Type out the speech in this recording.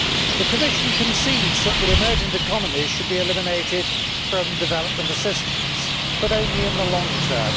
The Commission concedes that the emergent economies should be eliminated from development assistance, but only in the long term.